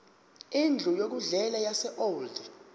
indlu yokudlela yaseold